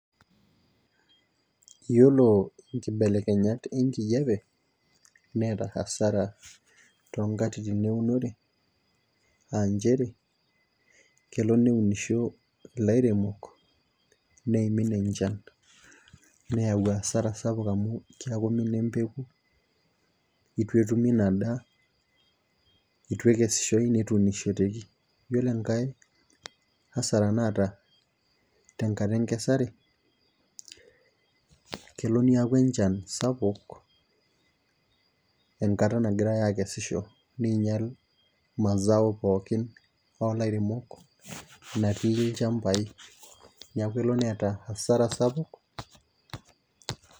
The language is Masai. Iyiolo nkibelekenyat enkijiape neeta asara too nkatitin enkijiape, aa nchere kelo neunisho ilairemok, neimin enchan neyau asara sapuk amu keuni naa empeku, eitu etumie ina daa, eitu ekesishoi netuunishoteki. iyiooo enkae, asara naata tenkata enkesare, kelo niaku enchan sapuk, enkata nagirae aakesisho, neing'ial, mazao pookin ilairemok, natii ilchampai. neeku elo neeta asara sapuk.